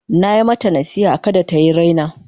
Na yi mata nasiha da kada ta yi raina.